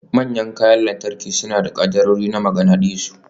Manyan kayan lantarki suna da kaddarorin maganadisu.